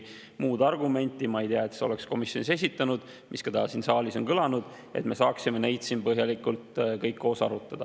Ma ei tea, et sa oleks komisjonis esitanud ühtegi muud argumenti, mis ka täna siin saalis on kõlanud, et me saaksime neid siin põhjalikult kõik koos arutada.